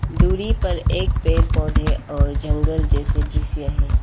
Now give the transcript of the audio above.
दूरी पर एक पेड़ पौधे और जंगल जैसे दृश्य हैं।